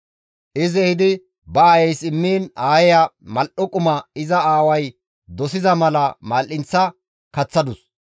Izi ehidi ba aayeys immiin aayeya mal7o quma iza aaway dosida mala mal7eththa kaththadus.